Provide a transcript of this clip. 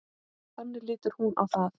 Þannig lítur hún á það.